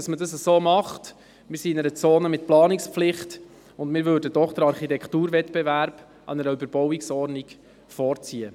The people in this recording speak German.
Wir befinden uns dort in einer ZPP, und wir würden einen Architekturwettbewerb einer Überbauungsordnung vorziehen.